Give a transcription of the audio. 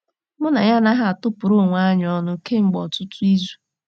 Mụ na ya anaghị atụpụrụ onwe anyị ọnụ kemgbe ọtụtụ izu.